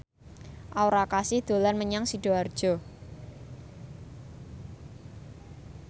Aura Kasih dolan menyang Sidoarjo